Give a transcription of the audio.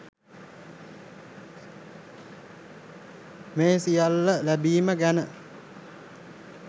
මේ සියල්ල ලැබීම ගැන